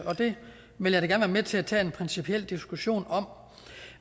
og det vil jeg da gerne være med til at tage en principiel diskussion om